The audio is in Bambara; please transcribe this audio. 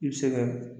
I bɛ se ka